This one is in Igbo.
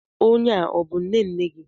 Onye a, ọ bú nnenne gị?